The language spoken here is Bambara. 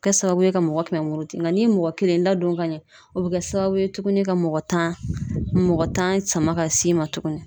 Kɛ sababu ye ka mɔgɔ kɛmɛ muruti nka n'i ye mɔgɔ kelen ladon ka ɲɛ, o bɛ kɛ sababu ye tuguni ka mɔgɔ tan mɔg,ɔ tan sama ka s'i ma tuguni.